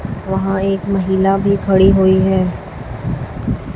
वहां एक महिला भी खड़ी हुई है।